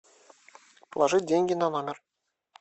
положить деньги на номер